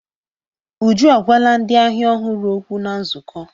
Uju agwala ndị ahịa ọhụrụ okwu na nzukọ.